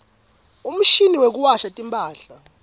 umshini wekuwasha timphahla